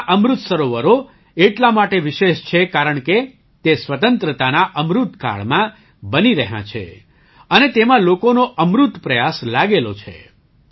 આપણાં અમૃત સરોવરો એટલા માટે વિશેષ છે કારણકે તે સ્વતંત્રતાના અમૃત કાળમાં બની રહ્યાં છે અને તેમાં લોકોનો અમૃત પ્રયાસ લાગેલો છે